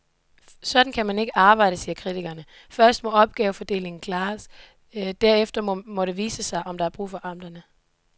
Sådan kan man ikke arbejde, siger kritikerne, først må opgavefordelingen klares, derefter må det vise sig, om der er brug for amterne.